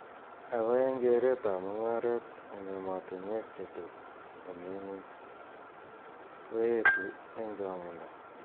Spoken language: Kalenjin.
Ako eng keret ab mungaret eng ematuneik che toko mi ngwuny ko etu ing changindo.